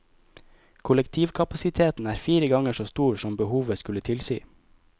Kollektivkapasiteten er fire ganger så stor som behovet skulle tilsi.